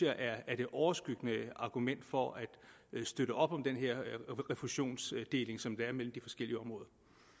er det overskyggende argument for at støtte op om den her refusionsdeling som der er mellem de forskellige områder